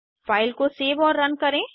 file को save और run करें